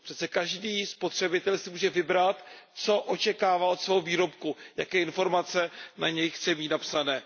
Přece každý spotřebitel si může vybrat, co očekává od svého výrobku, jaké informace na něm chce mít napsané.